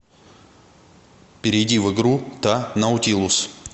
перейди в игру та наутилус